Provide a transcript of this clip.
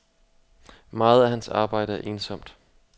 Meget af hans arbejde er ensomt.